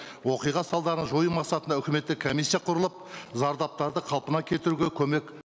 оқиға салдарын жою мақсатында үкіметте комиссия құрылып зардаптарды қалпына келтіруге көмек